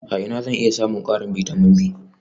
A ina zan iya samun ƙarin bitamin B?